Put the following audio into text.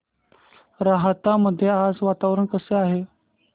राहता मध्ये आज वातावरण कसे आहे